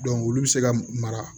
olu bɛ se ka mara